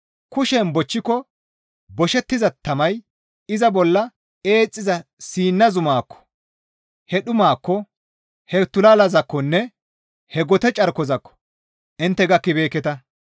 Kushen bochchiko boshettiza tamay iza bolla eexxiza Siina zumaakko, he dhumaakko, he tulalazaakkonne he gote carkozaakko intte gakkibeekketa.